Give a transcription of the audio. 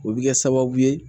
O bɛ kɛ sababu ye